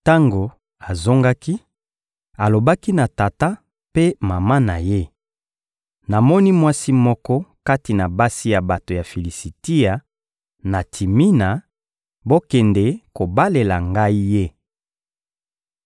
Tango azongaki, alobaki na tata mpe mama na ye: — Namoni mwasi moko kati na basi ya bato ya Filisitia, na Timina; bokende kobalela ngai ye.